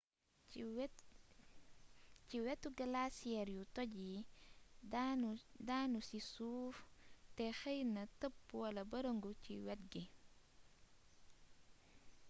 ci wétu glaciers yu toj yi daanu ci suuf té xeeyna teeb wala beereegu ci wét gi